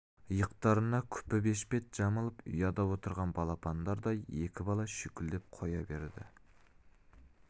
иықтарына күпі бешпет жамылып ұяда отырған балапандардай екі бала шүйкілдеп қоя берді